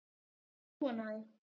Ég er búin á því.